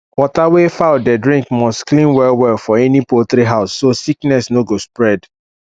water wey fowl dey drink must clean well well for any poultry house so sickness no go spread